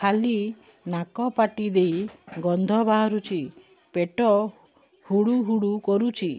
ଖାଲି ନାକ ପାଟି ଦେଇ ଗଂଧ ବାହାରୁଛି ପେଟ ହୁଡ଼ୁ ହୁଡ଼ୁ କରୁଛି